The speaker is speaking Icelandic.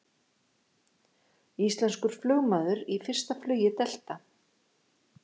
Íslenskur flugmaður í fyrsta flugi Delta